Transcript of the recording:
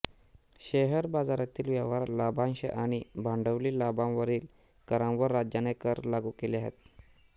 share बाजारातील व्यवहार लाभांश आणि भांडवली लाभांवरील करांवर राज्याने कर लागू केले आहेत